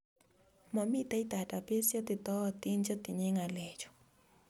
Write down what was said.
Momitei database cheititootin chetinyei ng'alechu